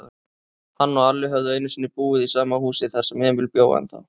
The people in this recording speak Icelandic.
Hann og Alli höfðu einusinni búið í sama húsi, þar sem Emil bjó ennþá.